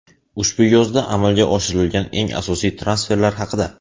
Ushbu yozda amalga oshirilgan eng asosiy transferlar haqida !